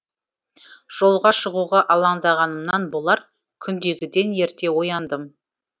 жолға шығуға алаңдағанымнан болар күндегіден ерте ояндым